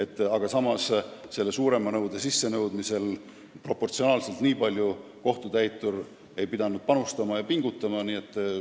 Samas aga ei pidanud kohtutäitur suurema nõude sissenõudmisel ehk üldse nii palju rohkem panustama ja pingutama.